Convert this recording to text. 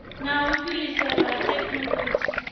na u fhiriselwa ha thekhinolodzhi